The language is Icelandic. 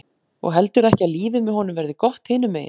Og heldurðu ekki að lífið með honum verði gott hinum megin?